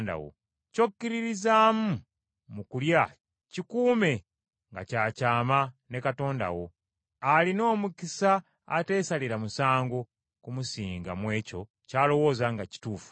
Ky’okkiririzaamu mu kulya kikuume nga kya kyama ne Katonda. Alina omukisa ateesalira musango kumusinga mu ekyo ky’alowooza nga kituufu.